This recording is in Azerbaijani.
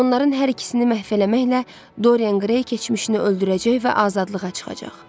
Onların hər ikisini məhv eləməklə Dorian Grey keçmişini öldürəcək və azadlığa çıxacaq.